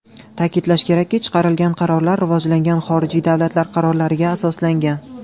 Ta’kidlash kerakki, chiqarilgan qarorlar rivojlangan xorijiy davlatlar qarorlariga asoslangan.